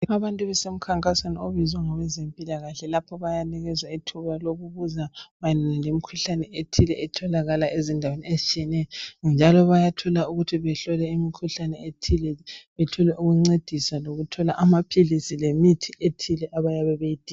Abantu basemkhankasweni ebizwe ngabezempilakahle lapha bayanikezwa ithuba lokubuza mayelana lemikhuhlane ethile etholakala ezindaweni ezitshiyeneyo. Njalo bayathola ukuthi bahlolwe imkhuhlane ethile bathole ukuncediswa lokuthola amaphilisi lemithi ethile abayabe beyidinga.